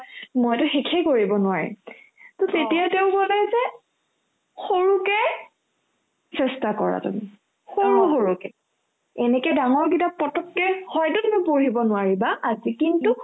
মইতো শেষে কৰিব নোৱাৰিম to তেতিয়া তেওঁ ক'লে যে সৰুকে চেষ্টা কৰা তুমি সৰু সৰুকে এনেকে ডাঙৰ কিতাপ পতককে হয়তো তুমি পঢ়িব নোৱাৰিবা আজি কিন্তু